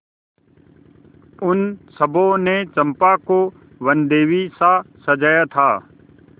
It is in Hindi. उन सबों ने चंपा को वनदेवीसा सजाया था